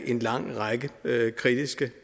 en lang række kritiske